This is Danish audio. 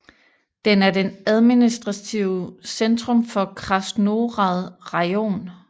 Den er det administrative centrum for Krasnohrad rajon